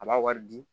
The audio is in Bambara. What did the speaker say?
A b'a wari di